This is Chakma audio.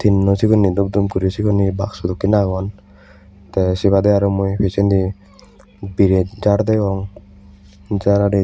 tin now segunhe dup dup guri segun he baksu dokane guri aagon tay say baday arow mui pijaidi birate jar degong.